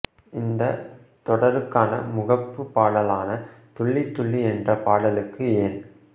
இந்த தொடருக்கான முகப்பு பாடலான துள்ளி துள்ளி என்ற பாடலுக்கு என்